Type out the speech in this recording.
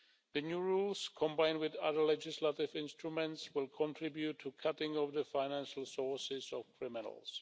The new rules, combined with other legislative instruments, will contribute to a cutting of the financial sources of criminals.